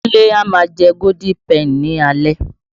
Kúnlé a má a jẹ Golden Penny ní alaalẹ́.